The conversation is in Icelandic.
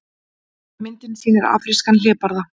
Myndin sýnir afrískan hlébarða.